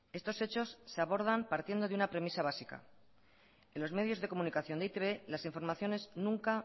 estos hechos se abordan partiendo de una premisa básica en los medios de comunicación de e i te be las informaciones nunca